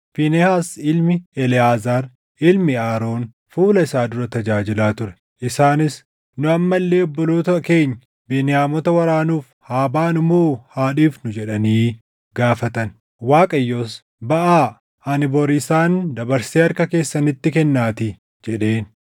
Fiinehaas ilmi Eleʼaazaar, ilmi Aroon fuula isaa dura tajaajilaa ture. Isaanis, “Nu amma illee obboloota keenya Beniyaamota waraanuuf haa baanu moo haa dhiifnu?” jedhanii gaafatan. Waaqayyos, “Baʼaa; ani bori isaan dabarsee harka keessanitti kennaatii” jedheen.